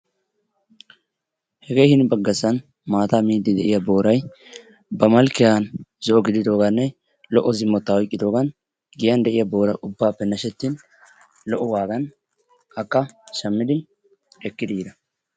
Hegee hini baggasan maataa miidi de'iyaa booray ba malkkiyaan zo"o gididooganne lo"o zimmettaa oyqqidoogan giyaan de'iyaa boora ubbappe naashettin lo"o wagaan akka shaammidi ekkidi yiida.